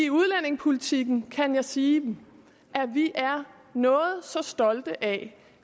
udlændingepolitikken kan jeg sige at vi er noget så stolte af